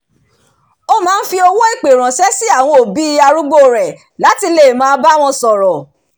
ó máa ń fi owó ìpè ránṣẹ́ sí àwọn òbí arúgbó rẹ̀ láti lè máa bá wọn sọ̀rọ̀